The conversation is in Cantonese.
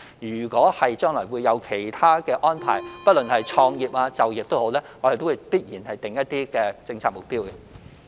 如果將來有其他安排，不論是創業或就業，我們必然會訂立一些政策目標。